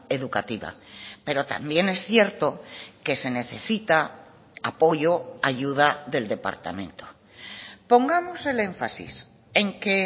educativa pero también es cierto que se necesita apoyo ayuda del departamento pongamos el énfasis en que